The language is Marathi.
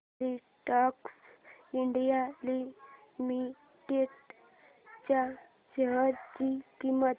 फिलाटेक्स इंडिया लिमिटेड च्या शेअर ची किंमत